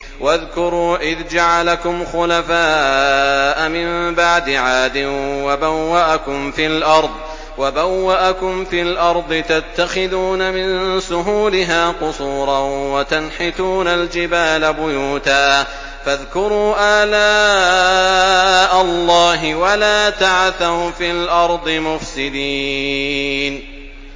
وَاذْكُرُوا إِذْ جَعَلَكُمْ خُلَفَاءَ مِن بَعْدِ عَادٍ وَبَوَّأَكُمْ فِي الْأَرْضِ تَتَّخِذُونَ مِن سُهُولِهَا قُصُورًا وَتَنْحِتُونَ الْجِبَالَ بُيُوتًا ۖ فَاذْكُرُوا آلَاءَ اللَّهِ وَلَا تَعْثَوْا فِي الْأَرْضِ مُفْسِدِينَ